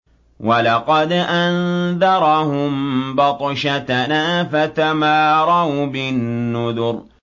وَلَقَدْ أَنذَرَهُم بَطْشَتَنَا فَتَمَارَوْا بِالنُّذُرِ